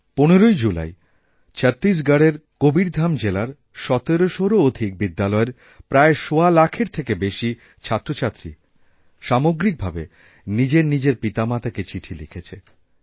১৫ই জুলাই ছত্তিশগড়ের কবীরধাম জেলার ১৭০০র অধিক বিদ্যালয়ের প্রায় সওয়া লাখেরথেকে বেশি ছাত্রছাত্রী সামগ্রিক ভাবে নিজের নিজের পিতামাতাকে চিঠি লিখেছে